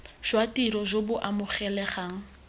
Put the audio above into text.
jwa tiro jo bo amogelegang